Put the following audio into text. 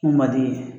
Mun man di